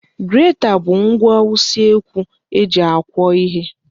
Greta bụ ngwa usekwu eji akwọ ihe.